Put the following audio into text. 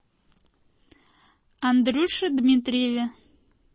андрюше дмитриеве